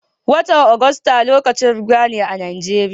Watan Agusta lokacin ruwa ne a Najeriya.